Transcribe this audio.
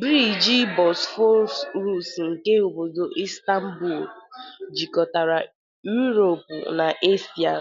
Briji Bosforus nke obodo Istanbu jikọtara Úropu na Eshia